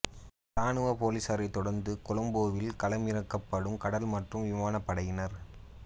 இராணுவப் பொலிஸாரைத் தொடர்ந்து கொழும்பில் களமிறக்கப்படும் கடல் மற்றும் விமானப் படையினர்